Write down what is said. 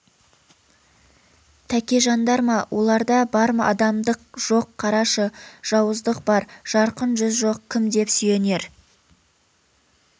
тәкежандар ма оларда бар адамдық жоқ қарашы жауыздық бар жарқын жүз жоқ кім деп сүйенер